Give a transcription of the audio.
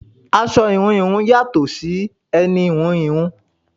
Aṣọ íhùn íhùn yàtò sì ẹni íhùn íhùn.